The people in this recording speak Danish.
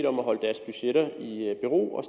om at holde deres budgetter i ro og